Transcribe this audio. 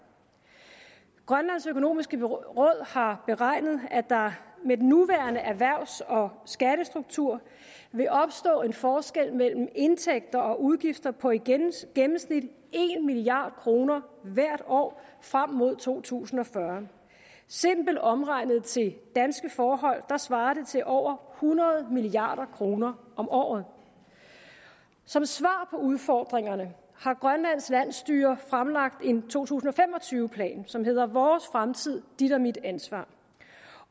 grønlands økonomiske råd har beregnet at der med den nuværende erhvervs og skattestruktur vil opstå en forskel mellem indtægter og udgifter på i gennemsnit en milliard kroner hvert år frem mod to tusind og fyrre simpelt omregnet til danske forhold svarer det til over hundrede milliard kroner om året som svar på udfordringerne har grønlands landsstyre fremlagt en to tusind og fem og tyve plan som hedder vores fremtid dit og mit ansvar